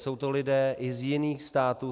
Jsou to lidé i z jiných států.